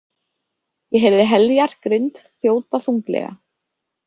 Ég heyrði Heljar grind þjóta þunglega.